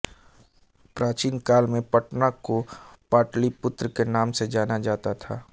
प्राचीन काल में पटना को पाटलिपुत्र के नाम से जाना जाता था